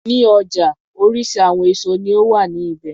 Ní ọjà oríṣi àwọn èso ní ó wà ní ibẹ̀.